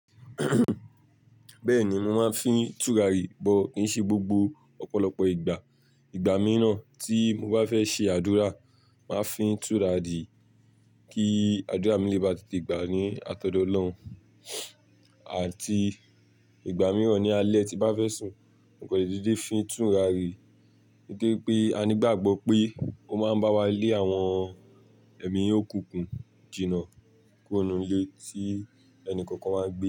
Bẹ́ẹ̀ni, mo máa ń fi tùràrí but kì í ṣe gbogbo ọ̀pọ̀lọpọ̀ ìgbà. Ìgbà mìíràn tí mo bá fẹ́ ṣe àdúrà máa fi tùràrí, kí àdúrà mi lé bá te te gbà ní àtọ̀dọ́ Ọlọ́run. Àti ìgbà mìíràn ní alẹ́ ti bá fẹ́ sùn, mo kọ̀ lè dedé fi tùràrí, nítorí pé a ní gbàgbọ́ pé ó máa ń bá wa lé àwọn èmí òkùkùn jìnà kuro nu ilé tí ẹnìkọ̀ọ̀kan wáa gbé.